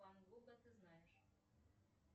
ван гога ты знаешь